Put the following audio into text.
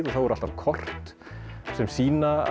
og þá er alltaf kort sem sýna